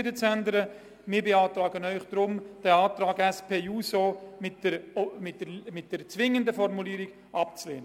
Die Regierung ersucht den Grossen Rat, die im Antrag der SP-JUSO-PSA-Fraktion, Marti, geforderte zwingende Formulierung abzulehnen.